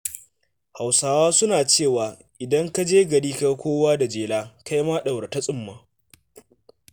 Hausawa suna cewa “idan ka je gari ka ga kowa da jela, kai ma ɗaura ta tsumma.”